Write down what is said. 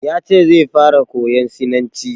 Ya ce zai fara koyan sinanci.